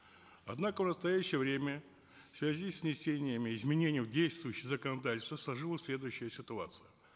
однако в настоящее время в связи с внесением изменений в действующее законодательство сложилась следующая ситуация